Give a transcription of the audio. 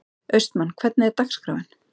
Austmann, hvernig er dagskráin?